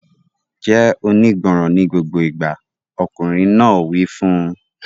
Jẹ́ onígbọràn ní gbogbo ìgbà! Ọkùnrin náà wí fún un.